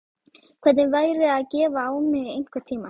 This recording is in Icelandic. Hvernig væri að gefa á mig einhvern tímann?